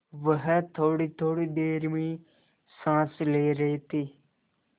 वह थोड़ीथोड़ी देर में साँस ले रहे थे